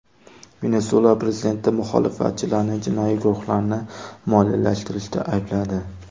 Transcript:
Venesuela prezidenti muxolifatchilarni jinoiy guruhlarni moliyalashtirishda aybladi.